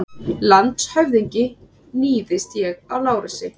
LANDSHÖFÐINGI: Níðist ég á Lárusi?